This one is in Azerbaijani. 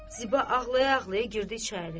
Ziba ağlaya-ağlaya girdi içəri.